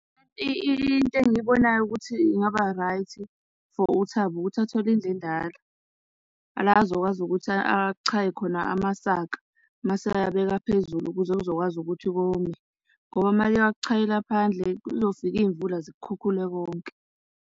Into engiyibonayo ukuthi ingaba right for uThabo ukuthi athole indlu endala, la azokwazi ukuthi achaye khona amasaka, mase eyabeka phezulu ukuze kuzokwazi ukuthi kome. Ngoba uma eke wakuchayela phandle, kuzofika iy'mvula zikukhukhule konke.